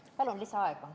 Palun lisaaega!